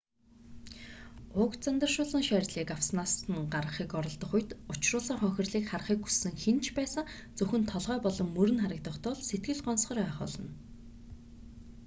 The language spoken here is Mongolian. уг занданшуулсан шарилыг авснаас нь гаргахыг оролдох үед учруулсан хохирлыг харахыг хүссэн хэн ч байсан зөвхөн толгой болон мөр нь харагдах тул сэтгэл гонсгор байх болно